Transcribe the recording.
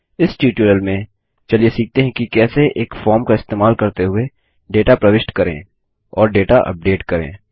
इस ट्यूटोरियल में चलिए सीखते हैं कि कैसे एक फॉर्म का इस्तेमाल करते हुए डेटा प्रविष्ट करें और डेटा अपडेट करें